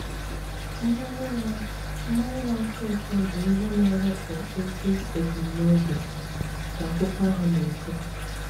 Mmanya na mmanya na-atọ ụtọ bụ ihe na-ewepụ ezi ebumnobi, ka akwụkwọ ahụ na-ekwu.